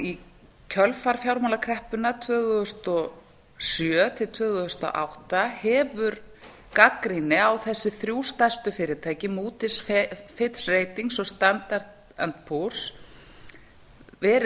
í kjölfar fjármálakreppunnar tvö þúsund og sjö til tvö þúsund og átta hefur gagnrýni á þessi þrjú stærstu fyrirtæki moodys fitch ratings og standard and poors verið